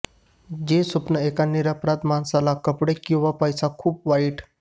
जे स्वप्न एका निरपराध माणसाला कपडे किंवा पैसा खूप वाईट